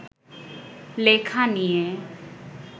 লেখা নিয়ে